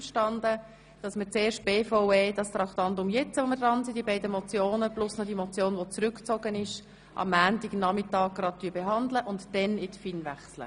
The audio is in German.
Sie ist damit einverstanden, dass wir diese beiden Motionen sowie die Motion, die zurückgezogen wurde, zuerst abschliessen und danach zu den Geschäften der FIN übergehen.